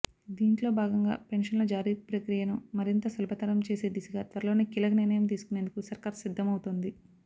దీంట్లో భాగంగా పెన్షన్ల జారీ ప్రక్రియను మరింత సులభతరం చేసే దిశగా త్వరలోనే కీలక నిర్ణయం తీసుకునేందుకు సర్కార్ సిద్దమవుతోంది